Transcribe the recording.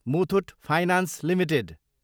Muthoot finance Ltd